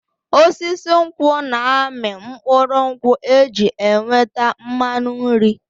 Osisi nkwụ na-amị mkpụrụ nkwụ eji enweta mmanụ nri.